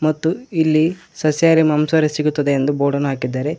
ಮತ್ತು ಇಲ್ಲಿ ಸಸ್ಯಹಾರಿ ಮಾಂಸಾಹಾರಿ ಸಿಗುತ್ತದೆ ಎಂದು ಬೋರ್ಡನ್ನು ಹಾಕಿದ್ದಾರೆ.